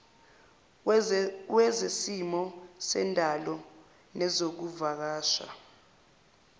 wezesimo sendalo nezokuvakasha